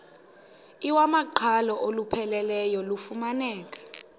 iwamaqhalo olupheleleyo lufumaneka